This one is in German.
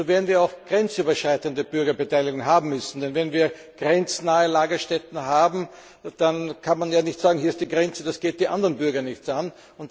Nur werden wir auch grenzüberschreitende Bürgerbeteiligung haben müssen. Denn wenn wir grenznahe Lagerstätten haben, dann kann man ja nicht sagen, hier ist die Grenze, das geht die anderen Bürger nichts an.